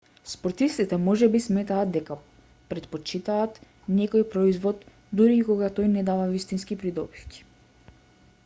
спортистите можеби сметаат дека претпочитаат некој производ дури и кога тој не дава вистински придобивки